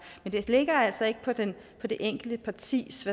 men det ligger altså ikke på det det enkelte partis